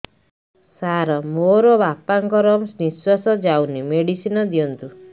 ସାର ମୋର ବାପା ଙ୍କର ନିଃଶ୍ବାସ ଯାଉନି ମେଡିସିନ ଦିଅନ୍ତୁ